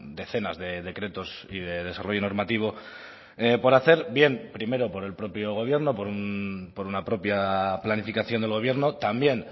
decenas de decretos y de desarrollo normativo por hacer bien primero por el propio gobierno por una propia planificación del gobierno también